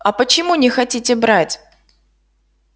а почему не хотите брать